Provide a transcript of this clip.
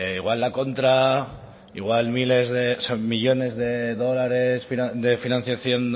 igual la contra miles millónes de dólares de financiación